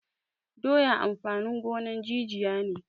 Doya amfanin gonan jijiya ne